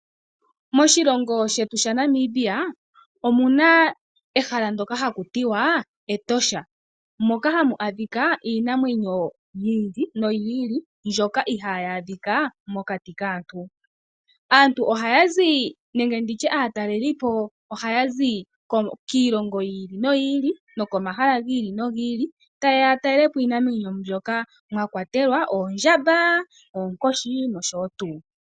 Moshilongo shetu omuna oshikunino shiinamwenyo shoka hashi ithanwa Etosha, metosha oha mu adhika iinamwenyo yiili ndjoka iha yi adhika mokati kaantu. Aataleli ohaazi kiilonga yiili no yi ili noko mahala giili no gi ili, ta yeya yatale iinamwenyo ndjoka yometosha ngaashi oondjamba noonkoshi.